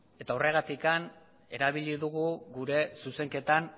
eta horregatik erabili dugu gure zuzenketan